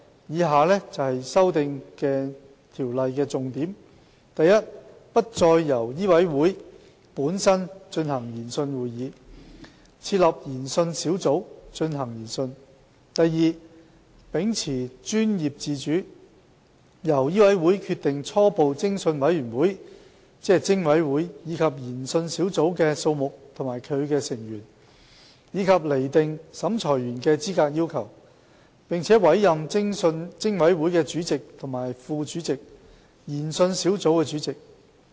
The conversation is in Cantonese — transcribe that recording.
以下為修訂條例的重點： a 不再由醫委會本身進行研訊會議，而另設研訊小組進行研訊； b 秉持專業自主，由醫委會決定初步偵訊委員會及研訊小組的數目和其成員，以及釐定審裁員的資格要求；並委任偵委會的主席及副主席，以及研訊小組主席。